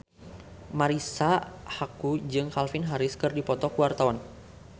Marisa Haque jeung Calvin Harris keur dipoto ku wartawan